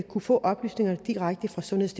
kunne få oplysningerne direkte fra sundheddk